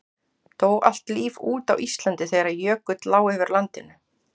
Dó allt líf út á Íslandi þegar jökull lá yfir landinu?